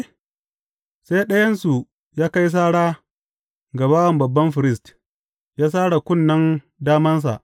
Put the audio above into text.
Sai ɗayansu ya kai sara ga bawan babban firist, ya sare kunnen damansa.